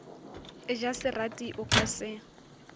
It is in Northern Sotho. ja serati o ka se